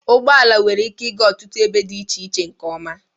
Ụgbọ ala nwere ike ịga ọtụtụ ebe dị iche iche nke ọma.